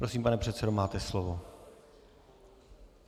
Prosím, pane předsedo, máte slovo.